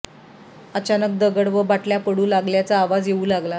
अचानक दगड व बाटल्या पडू लागल्याचा आवाज येवू लागला